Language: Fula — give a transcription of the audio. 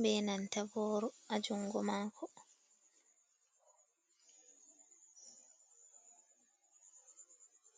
be nanta booro, a junngo maako.